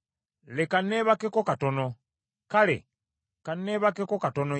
Otulo otutonotono, n’okusumagira akatono,